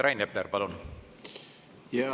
Rain Epler, palun!